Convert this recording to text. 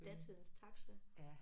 Datidens taxa